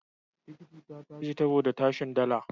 Tikiti ta tashi saboda tashin dala.